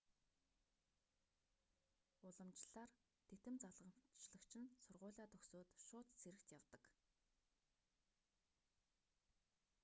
уламжлалаар титэм залгамжлагч нь сургуулиа төгсөөд шууд цэрэгт явдаг